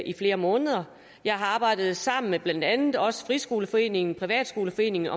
i flere måneder jeg har arbejdet sammen med blandt andet også dansk friskoleforening privatskoleforening